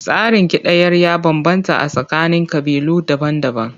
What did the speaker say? Tsarin kidayar ya bambanta a tsakanin ƙabilu daban-daban.